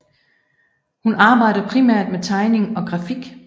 Hun arbejder primært med tegning og grafik